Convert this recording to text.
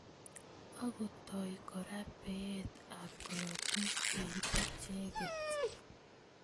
Akotoi kora beet ab korotik eng icheket.